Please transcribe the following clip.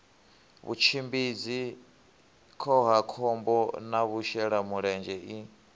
vhutshimbidzi khohakhombo na vhashelamulenzhe i